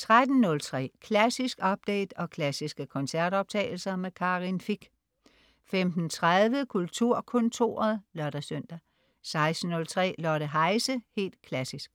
13.03 Klassisk update og klassiske koncertoptagelser. Karin Fich 15.30 Kulturkontoret (lør-søn) 16.03 Lotte Heise, helt klassisk.